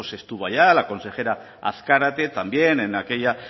estuvo allá la consejera azkarate también en aquella